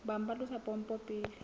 bang ba tlosa pompo pele